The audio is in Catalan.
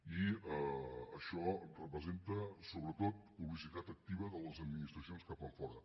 i això representa sobretot publicitat activa de les administracions cap enfora